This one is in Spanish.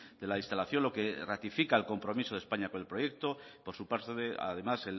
de la instalación lo que ratifica el compromiso de españa con el proyecto por su parte además